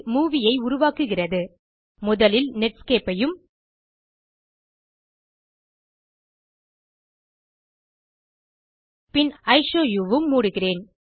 movie ஐ உருவாக்குகிறது முதலில் நெட்ஸ்கேப் ஐயும் இஷோவு உம் மூடுகிறேன்